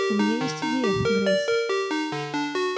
у меня есть идея грейс